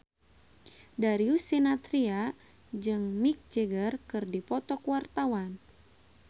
Darius Sinathrya jeung Mick Jagger keur dipoto ku wartawan